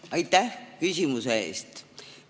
Aitäh küsimuse eest!